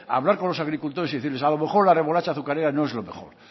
hablar con los agricultores y decirles a lo mejor la remolacha azucarera no es lo mejor